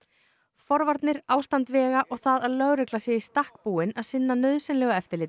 forvarnir ástand vega og það að lögregla sé í stakk búin að sinna nauðsynlegu eftirlit